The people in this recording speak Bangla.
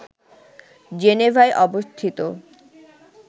জেনেভায় অবস্থিত